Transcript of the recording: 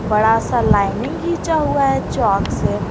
बड़ा सा लाइनिंग घिचा हुआ है चौक से।